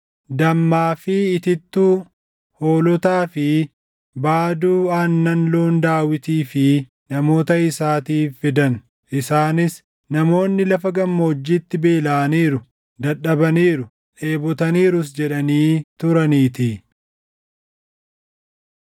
dammaa fi itittuu, hoolotaa fi baaduu aannan loon Daawitii fi namoota isaatiif fidan. Isaanis, “Namoonni lafa gammoojjiitti beelaʼaniiru, dadhabaniiru, dheebotaniirus” jedhanii turaniitii.